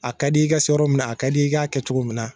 A ka d'i ye i ka se yɔrɔ minna, a ka di i k'a kɛ cogo min na.